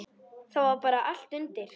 Það var bara allt undir.